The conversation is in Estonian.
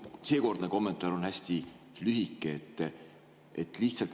Minu seekordne kommentaar on hästi lühike.